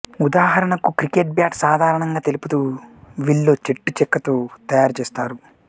ఉదాహరణకు cricket bat సాధారణంగా తెలుపు విల్లో చెట్టు చెక్కతో తయారు చేస్తారు